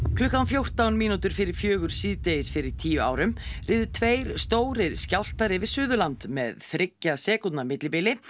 klukkan fjórtán mínútur fyrir fjögur síðdegis fyrir tíu árum riðu tveir stórir skjálftar yfir Suðurland með þriggja sekúndna millibili